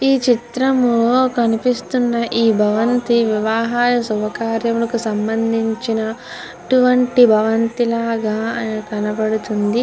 ఈ చిత్రంలో కనిపిస్తున్న ఈ భవంతి వివాహల శుభకార్యములకు సంబంధించిన ఇటువంటి భవంతి లాగా మన కనబడుతుంది.